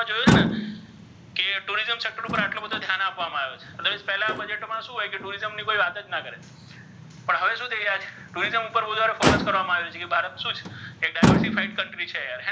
તેની ઉપર આટ્લો બધો ધ્યાન આપ્વામા આવ્યુ છે પેલા બજેટ્મા શુ હોય કે tourism ની કોઇ વાત જ ન કરે પણ હવે શુ થઇ રહ્યા છે tourism ઉપર વધારે focus કરવામા આવે છે કે ભારત શુ છે તે diverty fight country છે યાર્,